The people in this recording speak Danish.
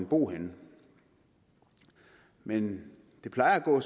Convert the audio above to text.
bo henne men det plejer at gå